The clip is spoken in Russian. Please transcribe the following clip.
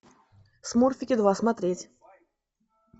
смурфики два смотреть